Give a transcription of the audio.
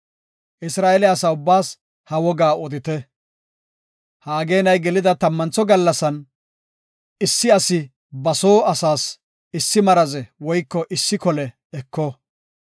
Isra7eele asa ubbaas ha wogaa odite. Ha ageenay gelida tammantho gallasan, issi asi ba soo asaas issi maraze woyko issi kole eko.